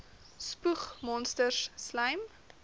spoeg monsters slym